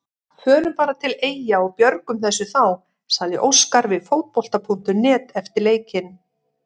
Við förum bara til Eyja og björgum þessu þá, sagði Óskar við Fótbolta.net eftir leikinn.